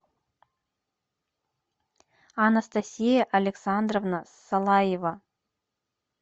анастасия александровна салаева